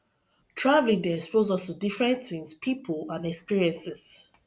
travelling dey expose us to different things pipo and experiences